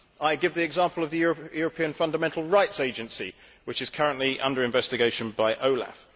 I give the example of the European Fundamental Rights Agency, which is currently under investigation by OLAF.